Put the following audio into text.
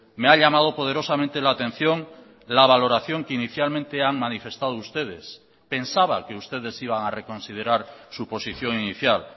me ha llamado poderosamente la atención la valoración que inicialmente han manifestado ustedes pensaba que ustedes iban a reconsiderar su posición inicial